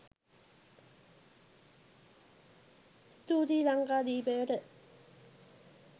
ස්තූතියි ලංකාදීපයට.